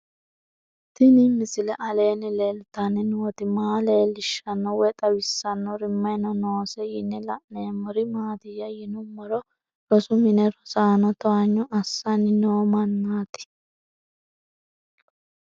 Tenni misile aleenni leelittanni nootti maa leelishshanno woy xawisannori may noosse yinne la'neemmori maattiya yinummoro rosu minne rosaanno towanyo assanni noo mannaatti